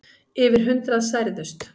Yfir hundrað særðust.